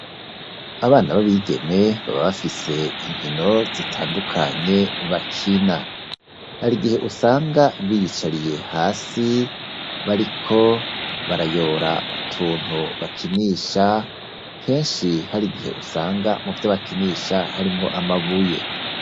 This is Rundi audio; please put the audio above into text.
Abana b'abigeme baba bafise inkino zitandukanye bakina hari igihe usanga biyicariye hasi bariko barayora utuntu bakinisha kenshi hari igihe usanga mu vya bakinisha harimwo amabuye.